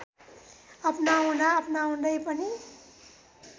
अपनाउँदा अपनाउँदै पनि